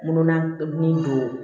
Mununa min don